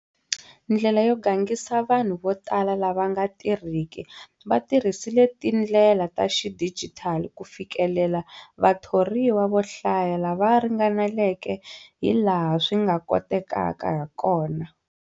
Ndlela yo gangisa vanhu votala lava nga tirhiki va tirhisile tindlela ta xidijitali ku fikelela vathoriwa vo hlaya lava ringaneleke hilaha swi nga kotekaka hakona.